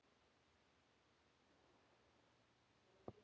Maður man varla annað eins.